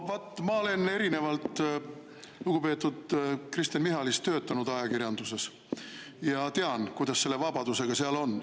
No vot, ma olen erinevalt lugupeetud Kristen Michalist töötanud ajakirjanduses ja tean, kuidas selle vabadusega seal on.